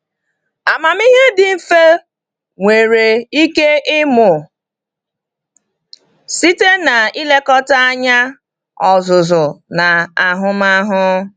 Amamihe dị mfe nwere ike ịmụ site n’ilekọta anya, ọzụzụ, na ahụmahụ.